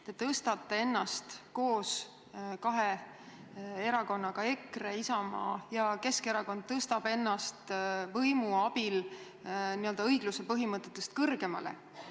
Te tõstate ennast koos kahe erakonnaga – EKRE, Isamaa ja Keskerakond – võimu abil õigluse põhimõtetest kõrgemale.